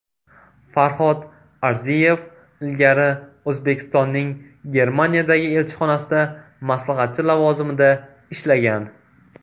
Farhod Arziyev ilgari O‘zbekistonning Germaniyadagi elchixonasida maslahatchi lavozimida ishlagan.